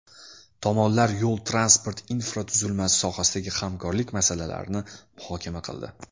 Tomonlar yo‘l-transport infratuzilmasi sohasidagi hamkorlik masalalarini muhokama qildi.